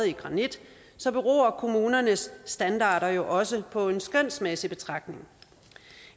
i granit beror kommunernes standarder jo også på en skønsmæssig betragtning